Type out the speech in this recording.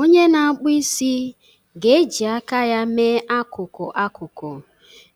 Onye na-akpụ isi ga-eji aka ya mee akụkụ akụkụ